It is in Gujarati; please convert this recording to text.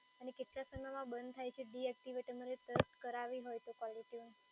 અને કેટલા સમયમાં બંધ થાય છે ડિએક્ટિવેટ કરાવી હોય તો કોલર ટયુન